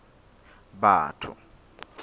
batho